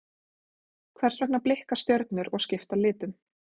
hvers vegna blikka stjörnur og skipta litum